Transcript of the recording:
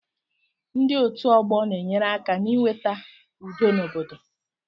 Ndị otu ọgbọ na-enyere aka n'iweta udo n'obodo